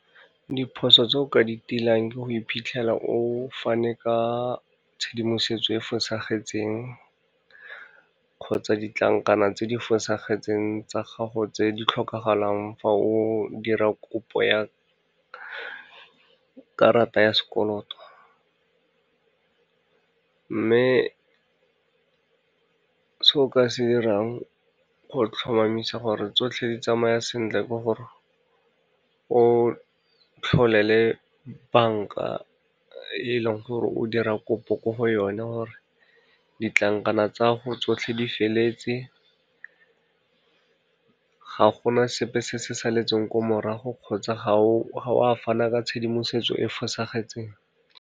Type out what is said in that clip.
Diphoso tse o ka di tilang ke go iphitlhela o fane ka tshedimosetso e e fosagetseng, kgotsa ditlankana tse di fosagetseng tsa gago tse di tlhokagalang fa o dira kopo ya karata ya sekoloto. Mme se o ka se 'irang go tlhomamisa gore tsotlhe di tsamaya sentle ke gore, o tlhole le banka e leng gore o dira kopo ko go one gore, ditlankana tsa gago tsotlhe di feletse, ga gona sepe se se saletseng ko morago kgotsa ga oa fana ka tshedimosetso e e fosagetseng.